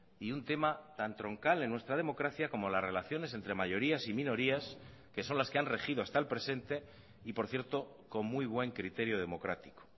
y un tema tan troncal en nuestra democracia como las relaciones entre mayorías y minorías que son las que han regido hasta el presente y por cierto con muy buen criterio democrático